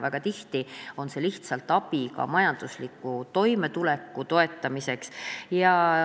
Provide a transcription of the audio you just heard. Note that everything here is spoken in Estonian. Väga tihti on see lihtsalt ka majandusliku toimetuleku toetamine.